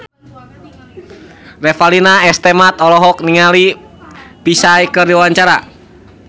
Revalina S. Temat olohok ningali Psy keur diwawancara